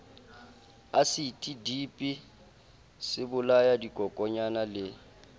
asiti dipi sebolaya dikokonyana le